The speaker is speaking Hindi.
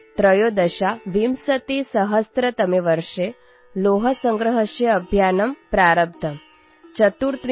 २०१३तमे वर्षे लौहसंग्रहस्य अभियानम् प्रारब्धम्